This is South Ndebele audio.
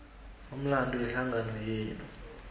umlando wehlangano yenu